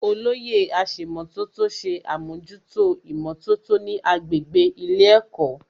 Olóyè aṣèmọ̀tótó ṣe àmójútó ìmọ̀tótó ní agbègbè ilé ẹ̀kọ́